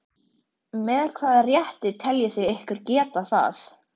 Með hvaða rétti teljið þið ykkur geta það?